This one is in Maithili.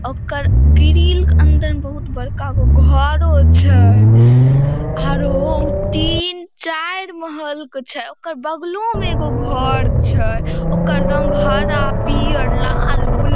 ओकर ग्रिल के अंदर में बहुत बड़का गो घरों छै आरो उ तीन चार महल के छै ओकर बगलो में एगो घर छै। ओकर रंग हरा पियर लाल ब्लू --